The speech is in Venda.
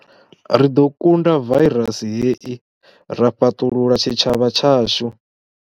Ri ḓo kunda vairasi hei ra fhaṱulula tshitshavha tshashu.